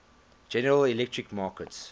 general electric markets